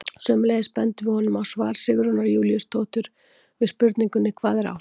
Sömuleiðis bendum við honum á svar Sigrúnar Júlíusdóttur við spurningunni Hvað er ást?